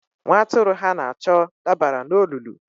Nwa atụrụ ha na-achọ dabara n'olulu.